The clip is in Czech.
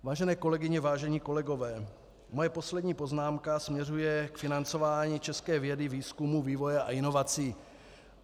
Vážené kolegyně, vážení kolegové, moje poslední poznámka směřuje k financování české vědy, výzkumu, vývoje a inovací.